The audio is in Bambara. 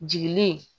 Jigili